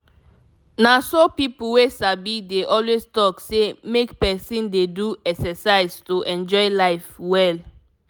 na so people wey sabi dey always talk say make person dey do exercise to enjoy life well.